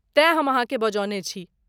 तेँ हम अहाँकेँ बजौने छी।